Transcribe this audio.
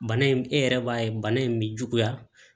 Bana in e yɛrɛ b'a ye bana in bi juguya